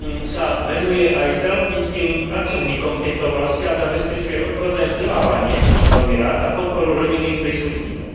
sa venuje aj zdravotníckym pracovníkom v tejto oblasti a zabezpečuje odborné vzdelávanie, čo som veľmi rád, a podporu rodinných príslušníkov.